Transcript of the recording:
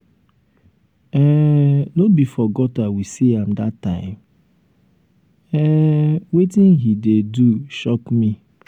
um no be for gutter we see am um dat time? um wetin he dey do shock me.